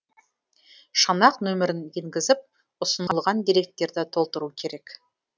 шанақ нөмірін енгізіп ұсынылған деректерді толтыру керек